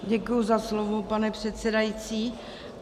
Děkuji za slovo, pane předsedající.